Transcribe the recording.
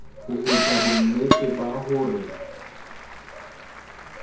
ho etsa bonnete ba hore